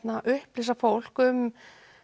upplýsa fólk um